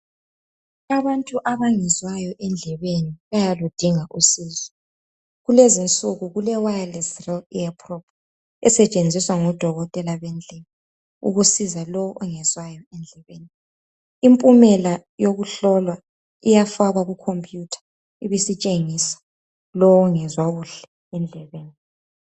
Abantu abangezwayo endlebeni, bayaludinga usizo. Kulezinsuku kule wireless real ear prop, esetshenziswa ngodokotela bendlebe, ukusiza lowo ongezwayo endlebeni. Impumela yokuhlolwa iyafakwa kucompuyutha ibisitshengisa lowo ongezwa kuhle, endlebeni.